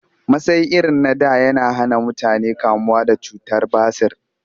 Masai irin na da yana hana mutane kamuwa da cutar basir